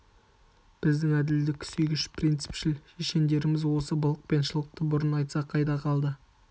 біздің әділдік сүйгіш принципшіл шешендеріміз осы былық пен шылықты бұрын айтса қайда қалды